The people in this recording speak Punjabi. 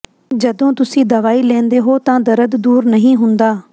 ਜਦੋਂ ਤੁਸੀਂ ਦਵਾਈ ਲੈਂਦੇ ਹੋ ਤਾਂ ਦਰਦ ਦੂਰ ਨਹੀਂ ਹੁੰਦਾ